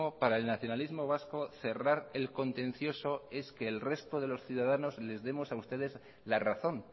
para el nacionalismo vasco cerrar el contencioso es que el resto de los ciudadanos les demos a ustedes la razón